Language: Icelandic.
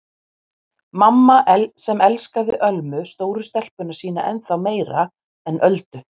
Mamma sem elskaði Ölmu stóru stelpuna sína ennþá meira en Öldu.